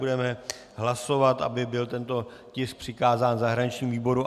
Budeme hlasovat, aby byl tento tisk přikázán zahraničnímu výboru.